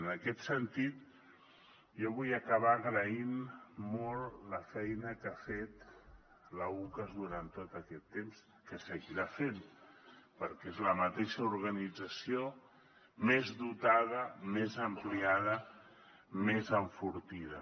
en aquest sentit jo vull acabar agraint molt la feina que ha fet l’ucas durant tot aquest temps i que seguirà fent perquè és la mateixa organització més dotada més ampliada més enfortida